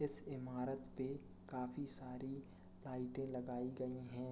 इस इमारत पे काफी सारी लाइटे लगायी गयी हैं।